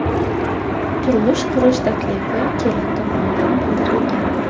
Turmush qurish taklifi kelin tomonidan bildirilgan.